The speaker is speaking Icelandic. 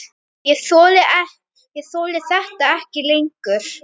Ég þoli þetta ekki lengur.